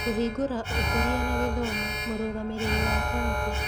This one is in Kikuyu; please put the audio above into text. Kũhingũra Ũkũria na Gĩthomo Mũrũgamĩrĩri wa Kaunti.